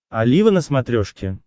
олива на смотрешке